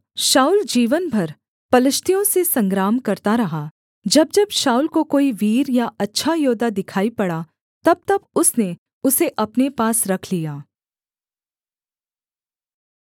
शाऊल जीवन भर पलिश्तियों से संग्राम करता रहा जब जब शाऊल को कोई वीर या अच्छा योद्धा दिखाई पड़ा तबतब उसने उसे अपने पास रख लिया